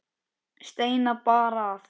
Steina bar að.